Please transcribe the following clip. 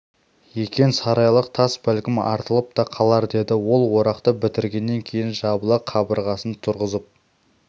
екен сарайлық тас бәлкім артылып та қалар деді ол орақты бітіргеннен кейін жабыла қабырғасын тұрғызып